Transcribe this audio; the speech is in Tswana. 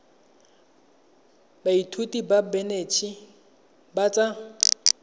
baithuti ba banetshi ba tsa